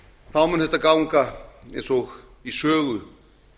þá mun þetta ganga eins og í sögu